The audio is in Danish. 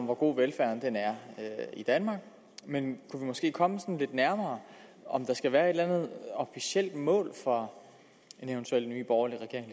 hvor god velfærden er i danmark men kunne vi måske komme lidt nærmere om der skal være et eller andet officielt mål for en eventuel ny borgerlig regering